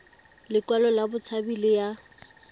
lekwalo la botshabi le ya